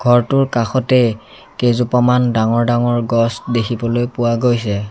ঘৰটোৰ কাষতে কেইজোপামান ডাঙৰ ডাঙৰ গছ দেখিবলৈ পোৱা গৈছে।